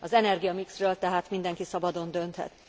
Az energiamixről tehát mindenki szabadon dönthet.